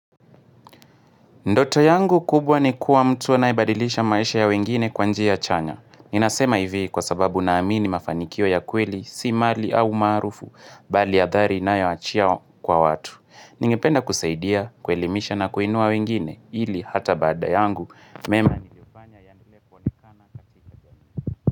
Ndoto yangu kubwa ni kuwa mtu anayebadilisha maisha ya wengine kwa njia chanya. Ninasema hivi kwa sababu naamini mafanikio ya kweli, si mali au maarufu, bali ya adhari inayowachia kwa watu. Ningependa kusaidia, kuelimisha na kuinua wengine, ili hata baada yangu.